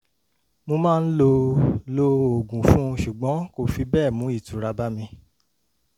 mo máa ń lo lo oògùn fún un ṣùgbọ́n kò fi bẹ́ẹ̀ mú ìtura bá mi